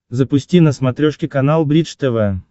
запусти на смотрешке канал бридж тв